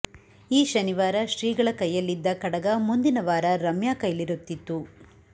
ಈ ಶನಿವಾರ ಶ್ರೀಗಳ ಕೈಯಲ್ಲಿದ್ದ ಕಡಗ ಮುಂದಿನ ವಾರ ರಮ್ಯಾ ಕೈಲಿರುತ್ತಿತ್ತು